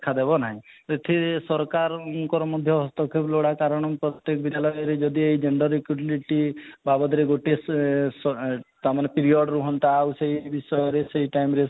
ଦେଖାଦେବ ନାହିଁ ଏଠି ସରକାର ଙ୍କର ମଧ୍ୟ ହସ୍ତକ୍ଷେପ ଲୋଡ଼ା କାରଣ ପ୍ରତେକ ବିଦ୍ୟାଳୟରେ ଯଦି ଏଇ gender equability ବାବଦରେ ଗୋଟିଏ ସ ସେ ତା'ମାନେ period ରୁହନ୍ତା ଆଉ ସେଇ ବିଷୟରେ ସେଇ time ରେ